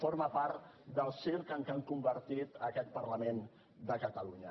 forma part del circ en què han convertit aquest parlament de catalunya